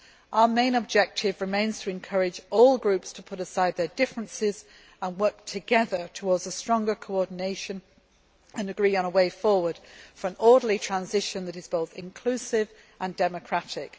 Our main objective remains to encourage all groups to put aside their differences, work together towards stronger coordination and agree on a way forward for an orderly transition that is both inclusive and democratic.